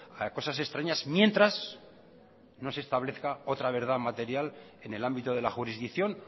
a cosas extrañas mientras no se establezca otra verdad material en el ámbito de la jurisdicción